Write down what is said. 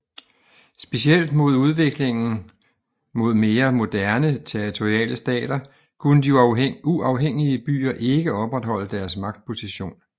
Specielt med udviklingen mod mere moderne territoriale stater kunne de uafhængige byer ikke opretholde deres magtposition